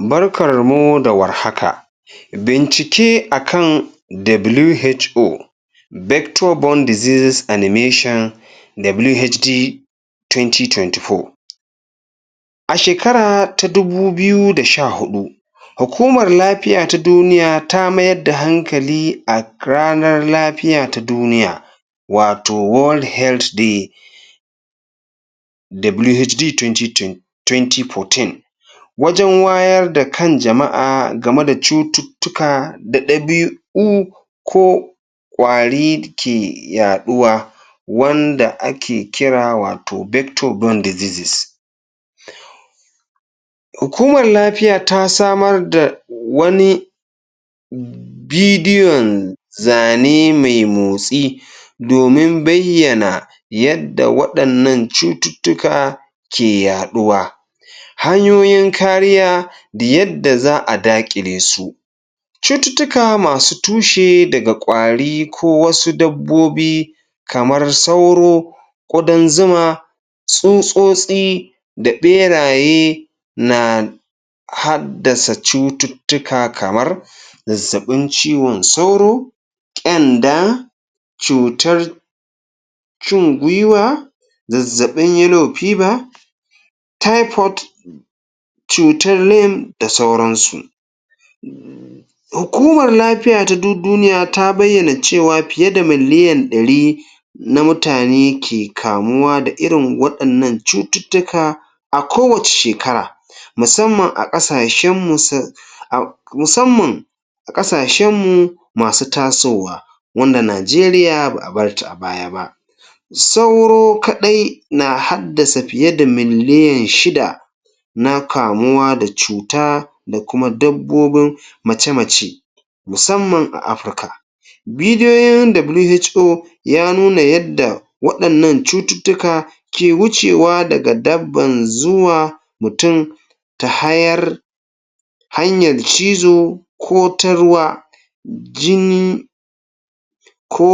Barkarmu da war haka! Bincike a kan WHO vector borne diseases animantion WHD 2024 A shekara ta 2014 Hukumar Lafiya ta Duniya ta mayar da hankali a ranar lafiya ta duniya. wato World Health Day. WHD 2014 wajen wayar da kan jama'a game da cututtuka da ɗabi'u ko ƙwari ke yaɗuwa wanda ake kira wato vector borne diseases. Hukumar lafiya ta samar da wani bidiyon zane mai motsi domin bayyana yadda waɗannan cututtuka ke yaɗuwa domin kariya da yadda za a daƙile su cututtuka masu tushe daga ƙwari ko wasu dabbobi kamar sauro, ƙudan zuma, tsutsotsi da ɓeraye na haddasa cututtuka kamar zazzaɓin ciwon sauro, ƙyanda, cutar cin gwiwa, zazzaɓi yellow fever, taifot, cutar lim da sauransu. Hukumar lafiya ta duk duniya ta bayyana cewa fiye da miliyan ɗari na mutane ke kamuwa da irin waɗannan cututtuka a kowace shekara, musamman a ƙasashen mus, musamman a ƙasashenmu masu tasowa wanda Najeriya ba a bar ta a baya ba. Sauro kaɗai na haddasa fiye da miliyan shida na kamuwa da cuta da kuma dabbobin mace-mace musamman a Afirka Bidiyoyin WHO ya nuna yadda waɗannan cututtuka ke wucewa daga dabban zuwa mutum ta hayar, hanyar cizo ko ta ruwa, jini ko